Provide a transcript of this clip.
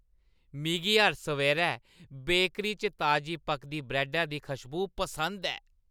मिगी हर सवेरै बेकरी च ताजी पकदी ब्रैड्डा दी खुशबू पसंद ऐ।